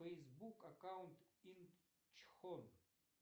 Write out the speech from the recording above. фейсбук аккаунт инчхон